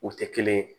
U tɛ kelen ye